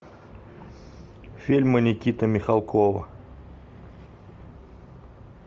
фильмы никиты михалкова